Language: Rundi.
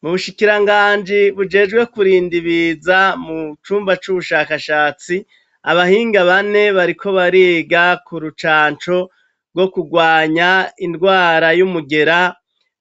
Mubushikira nganji bujejwe kurinda ibiza mu cumba c'ubushakashatsi abahinga bane bariko bariga ku rucanco rwo kurwanya indwara y'umugera